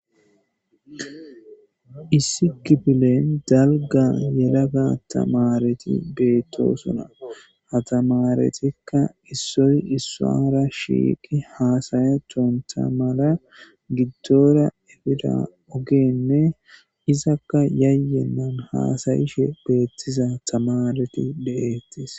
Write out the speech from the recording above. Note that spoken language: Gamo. issi gibilen dalga yelaga tamareti beettosuna hatamaretikka issoy issara shiiqi haasayetonta mala giddora efida ogeenne izakka yayyennan haasayishe beettiza tamareti deeettis